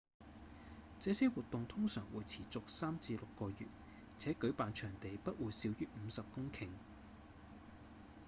這些活動通常會持續3至6個月且舉辦場地不會小於50公頃